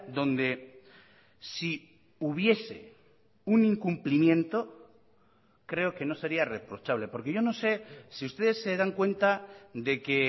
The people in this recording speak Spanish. donde si hubiese un incumplimiento creo que no sería reprochable porque yo no sé si ustedes se dan cuenta de que